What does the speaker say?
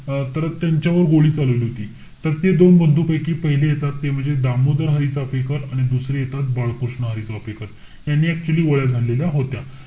अं तर त्यांच्या वर गोळी चालवली होती. तर ते दोन बंधुपैकी येतात ते म्हणजे दामोदर हरी चाफेकर. आणि दुसरे येतात बाळकृष्ण हरी चाफेकर. यांनी actually गोळ्या झाडलेल्या होत्या.